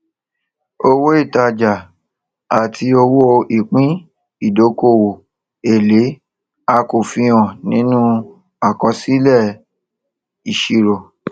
owó ìtajà àti owó ìpín ìdókòwò èlé a kò fi hàn nínú àkọsílẹìṣirò